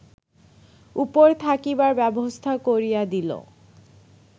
উপর থাকিবার ব্যবস্থা করিয়া দিল